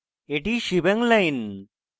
এটি shebang line